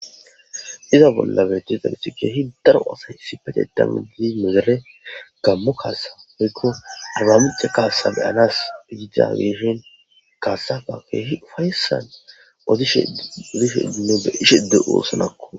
Iza bolla beetti dagethi keehi daro asay sipete dama gidi megere gammo kaasa poykko arbamica kaasa beyanas idida gieshin kaasafa keehi ufayssan odishodishe dino beishedde oosonakko.